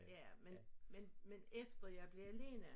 Ja men men efter jeg blev alene